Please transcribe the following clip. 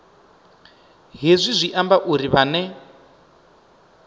hezwi zwi amba uri vhane